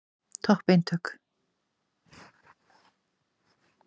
Perurnar hlaupa yfir sviðið og trufla Evu appelsínu og Rauða eplið.